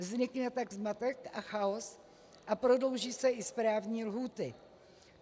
Vznikne tak zmatek a chaos a prodlouží se i správní lhůty.